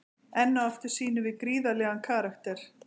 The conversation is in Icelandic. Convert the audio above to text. Enn og aftur sýnum við gríðarlegan karakter.